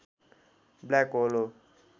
black hole हो